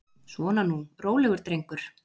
Svona nú, rólegur drengur.